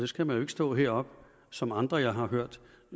skal man jo ikke stå heroppe som andre jeg har hørt